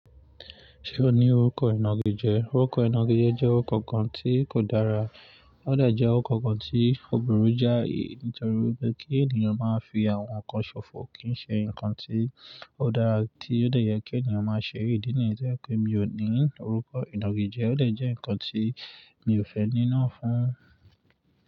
Ṣé o ní orúkọ ìnagijẹ? Orúkọ ìnagijẹ jẹ́ orúkọ kan tí kò dára, ó de jẹ orúkọ kan tí òbùrú jáì nítorí pé kí ènìyàn máa fi àwọn nǹkan ṣòfò kì ń ṣe ǹnkan tí ó dára tí ó dè yẹ kí ènìyàn máa ṣe, idi niyen to je pé mi ò ní orúkọ ìnagijẹ, ó lè jẹ́ ǹnkan tí mi ò fẹ́ ní náà fún.